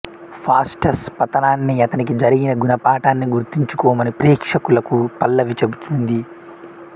Faustus పతనాన్ని అతనికి జరిగిన గుణపాఠాన్ని గుర్తుంచుకోమని ప్రేక్షకులకు పల్లవి చెబుతుంది